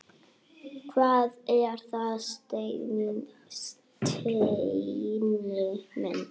Hvað er það, Steini minn?